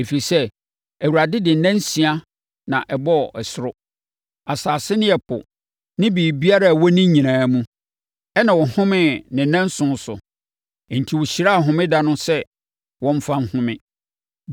Ɛfiri sɛ, Awurade de nna nsia na ɛbɔɔ ɛsoro, asase ne ɛpo ne biribiara a ɛwɔ ne nyinaa mu, ɛnna ɔhomee ne nnanson so; enti ɔhyiraa homeda no so sɛ wɔmfa nhome.